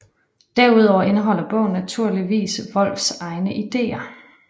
Derudover indeholder bogen naturligvis Wolfs egne idéer